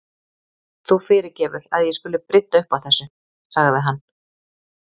Þú fyrirgefur að ég skuli brydda upp á þessu- sagði hann.